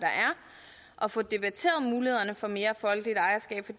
og få debatteret mulighederne for mere folkeligt ejerskab